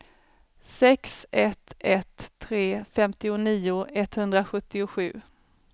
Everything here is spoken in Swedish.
sex ett ett tre femtionio etthundrasjuttiosju